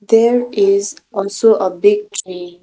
there is also a big tree.